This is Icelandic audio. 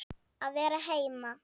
Að vera heima.